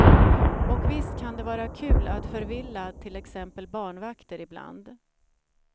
Och visst kan det vara kul att förvilla till exempel barnvakter ibland.